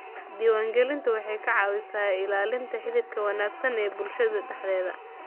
Diiwaangelintu waxay ka caawisaa ilaalinta xidhiidhka wanaagsan ee bulshada dhexdeeda.